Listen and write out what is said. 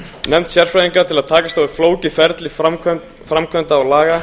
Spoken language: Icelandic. nefnd sérfræðinga til að takast á við flókið ferli framkvæmda og laga